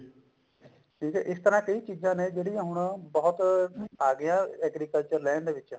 ਠੀਕ ਹੈ ਇਸ ਤਰ੍ਹਾਂ ਕਈ ਚੀਜ਼ਾਂ ਨੇ ਜਿਹੜੀਆਂ ਹੁਣ ਬਹੁਤ ਆਗਿਆਂ agriculture land ਦੇ ਵਿੱਚ